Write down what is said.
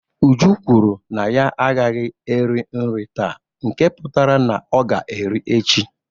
Uju kwuru na ya agaghị eri nri taa nke pụtara na ọ ga-eri echi